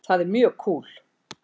Það er mjög kúl.